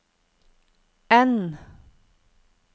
N